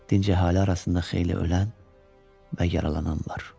Dinc əhali arasında xeyli ölən və yaralanan var.